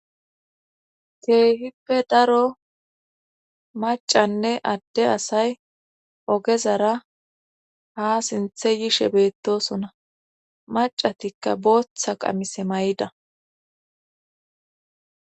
Keehippe daro macanne adde asay ogezara ha sinthe yishe beettosona macatikka booththa qamise may'ida.